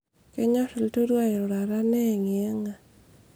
kenyor ilturua airurata neyangiyanga